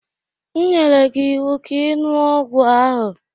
M nyere gị ịwụ ka ị ṅụọ ọgwụ ahụ!